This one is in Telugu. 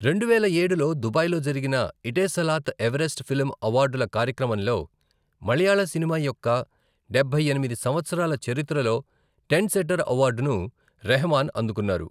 రెండువేల ఏడులో దుబాయ్ లో జరిగిన ఇటేసలాత్ ఎవరెస్ట్ ఫిల్మ్ అవార్డుల కార్యక్రమంలో మలయాళ సినిమా యొక్క డబ్బై ఎనిమిది సంవత్సరాల చరిత్రలో ట్రెండ్సెటర్ అవార్డును రెహమాన్ అందుకున్నారు.